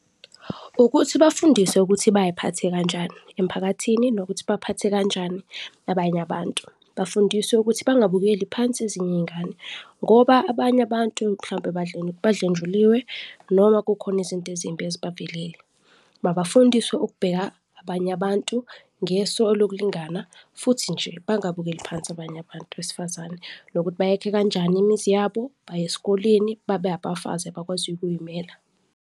Ukuthi bafundiswe ukuthi bayiphathe kanjani emphakathini nokuthi baphathe kanjani abanye abantu. Bafundiswe ukuthi bangabukeli phansi ezinye izingane ngoba abanye abantu mhlawumbe badlenjuliwe noma kukhona izinto ezimbi eziba velele. Mabafundiswe ukubheka abanye abantu ngeso lokulingana futhi nje bangabukeli phansi abanye abantu besifazane nokuthi bayakhe kanjani imizi yabo, baye esikoleni babe abafazi abakwaziyo ukuy'mela.